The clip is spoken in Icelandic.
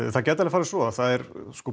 það gæti alveg farið svo það